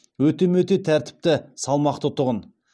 өте мөте тәртіпті салмақты тұғын